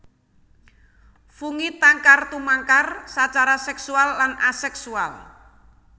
Fungi tangkar tumangkar sacara seksual lan aseksual